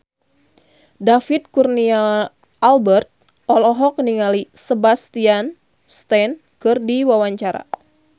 David Kurnia Albert olohok ningali Sebastian Stan keur diwawancara